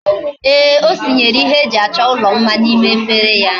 Eeh, o senyere ihe eji acho ulo mma na ime efere ya